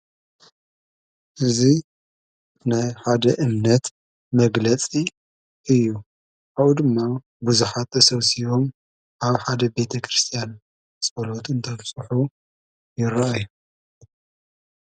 እዙይ ናይ ሓደ እምነት መግለጺ እዩ ።ካኣው ድማ ብዙሓ ሰውሲዎም ኣብ ሓደ ቤተ ክርስቲያን ጸሎትን ተብጽሑ ይረ ኣዩ ።